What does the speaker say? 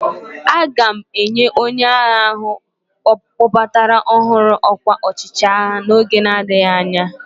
A ga-enye onye agha ahụ a kpọbatara ọhụrụ ọkwa ọchịagha n'oge na-adịghị anya.